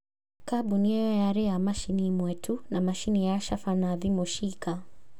Kambuni ĩyo yarĩ na macini ĩmwe tu na macini ya caba na thimũ ciika